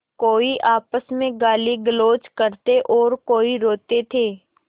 कोई आपस में गालीगलौज करते और कोई रोते थे